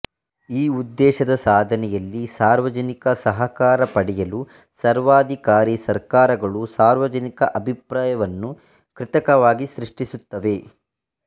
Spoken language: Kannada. ಈ ಉದ್ದೇಶದ ಸಾಧನೆಯಲ್ಲಿ ಸಾರ್ವಜನಿಕ ಸಹಕಾರ ಪಡೆಯಲು ಸರ್ವಾಧಿಕಾರಿ ಸರ್ಕಾರಗಳು ಸಾರ್ವಜನಿಕ ಅಭಿಪ್ರಾಯವನ್ನು ಕೃತಕವಾಗಿ ಸೃಷ್ಟಿಸುತ್ತವೆ